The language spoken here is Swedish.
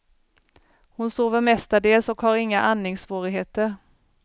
Hon sover mestadels och hon har inga andningssvårigheter.